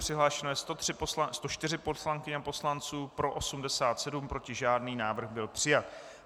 Přihlášeno je 104 poslankyň a poslanců, pro 87, proti žádný, návrh byl přijat.